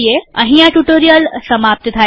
અહીં આ ટ્યુટોરીયલનાં સમાપ્ત થાય છે